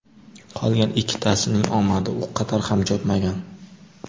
Qolgan ikkitasining omadi u qadar ham chopmagan.